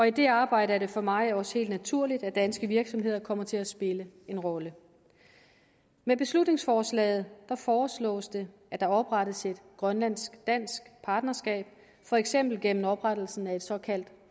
i det arbejde er det for mig også helt naturligt at danske virksomheder kommer til at spille en rolle med beslutningsforslaget foreslås det at der oprettes et grønlandsk dansk partnerskab for eksempel gennem oprettelse af et såkaldt